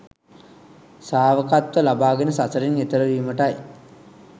ශ්‍රාවකත්වය ලබාගෙන සසරෙන් එතෙර වීමටයි.